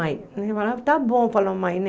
Ah, mãe, tá bom, falou a mãe.